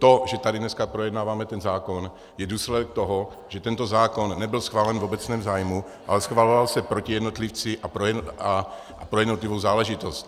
To, že tady dneska projednáváme ten zákon, je důsledek toho, že tento zákon nebyl schválen v obecném zájmu, ale schvaloval se proti jednotlivci a pro jednotlivou záležitost.